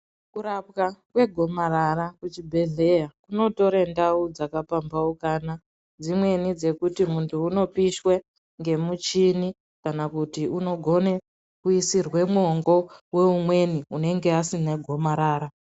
Kurapwa kwegomarara kuchibhedhleya, kunotore ndau dzakapambaukana, dzimweni dzekuti muntu unopishwe, ngemuchini kana kuti unogone kuyisirwe mwongo woumweni unenge asina gomarara.